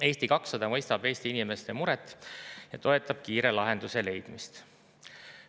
Eesti 200 mõistab Eesti inimeste muret ja toetab kiire lahenduse leidmist.